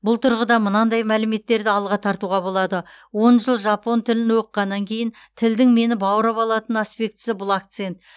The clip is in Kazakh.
бұл тұрғыда мынандай мәліметтерді алға тартуға болады он жыл жапон тілін оқығаннан кейін тілдің мені баурап алатын аспектісі бұл акцент